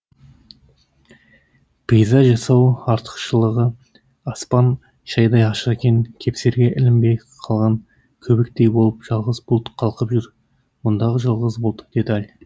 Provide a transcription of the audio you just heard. пейзаж жасау артықшылығы аспан шайдай ашық екен кепсерге ілінбей қалған көбіктей болып жалғыз бұлт қалқып жүр мұндағы жалғыз бұлт деталь